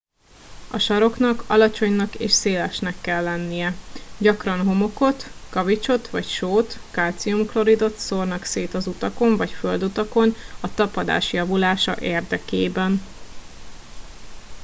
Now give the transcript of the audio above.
a saroknak alacsonynak és szélesnek kell lennie. gyakran homokot kavicsot vagy sót kalcium kloridot szórnak szét az utakon vagy földutakon a tapadás javulása érdekében